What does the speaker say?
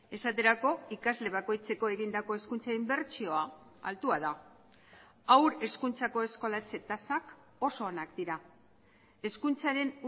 esaterako ikasle bakoitzeko egindako hezkuntza inbertsioa altua da haur hezkuntzako eskolatze tasak oso onak dira hezkuntzaren